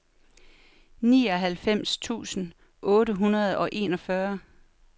nioghalvfems tusind otte hundrede og enogfyrre